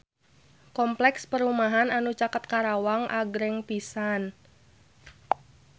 Kompleks perumahan anu caket Karawang agreng pisan